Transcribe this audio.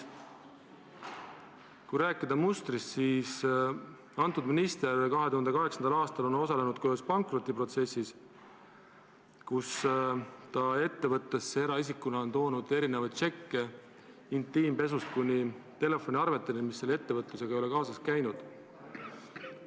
Kui rääkida mustrist, siis antud minister osales 2008. aastal ka ühes pankrotiprotsessis, kui ta eraisikuna tõi ettevõttesse erinevaid tšekke, intiimpesu ostu tšekkidest kuni telefoniarveteni, mis selle ettevõtlusega kaasas ei käinud.